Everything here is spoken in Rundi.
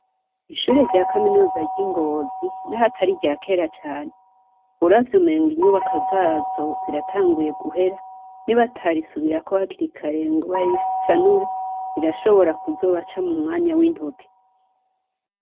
Ishure rya Kaminuza ry'I Ngozi naho atari irya kera cane, uravye umenga inyubako zazo ziratanguye guhera ;nibatarisubirako hakiri kare ngo barisanure rirashobora kuzobaca mumwanya wintoke.